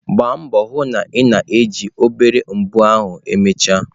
Gbaa mbọ hụ na ị na-eji obere mbọ ahụ emechaa.